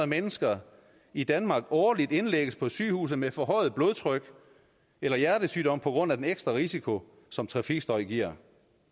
mennesker i danmark årligt indlægges på sygehus med forhøjet blodtryk eller hjertesygdom på grund af den ekstra risiko som trafikstøj giver